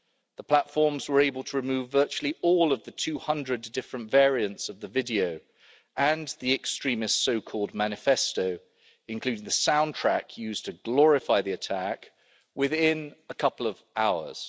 The platforms were able to remove virtually all of the 200 different variants of the video and the extremist so-called manifesto including the soundtrack used to glorify the attack within a couple of hours.